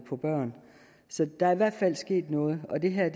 for børn så der er i hvert fald sket noget og det her er